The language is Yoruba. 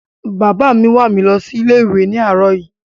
Bàbá mi wà mi lọ sí ilé ìwé ni àróò yí